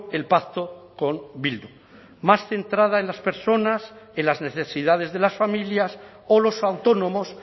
el pacto con bildu más centrada en las personas en las necesidades de las familias o los autónomos